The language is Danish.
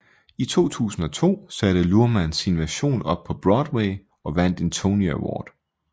I 2002 satte Luhrmann sin version op på Broadway og vandt en Tony Award